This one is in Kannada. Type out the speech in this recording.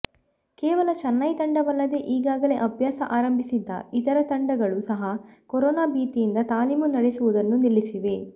ಕೇವಲ ಚೆನ್ನೈ ತಂಡವಲ್ಲದೆ ಈಗಾಗಲೇ ಅಭ್ಯಾಸ ಆರಂಭಿಸಿದ್ದ ಇತರ ತಂಡಗಳು ಸಹ ಕೊರೋನಾ ಭೀತಿಯಿಂದ ತಾಲೀಮು ನಡೆಸುವುದನ್ನು ನಿಲ್ಲಿಸಿವೆ